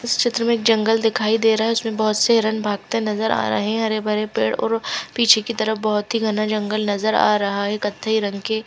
इस चित्र में जंगल दिखाई दे रहा है उसमें बहोत से हिरण भागते नज़र आ रहे है हरे-भरे पेड़ और पीछे की तरफ बहोत ही घना जंगल नज़र आ रहा है कत्थई रंग के --